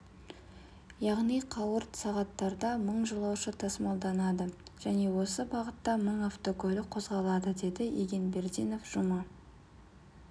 яғни қауырт сағаттарда мың жолаушы тасымалданды және осы бағытта мың автокөлік қозғалады дедіб егенбердинов жұма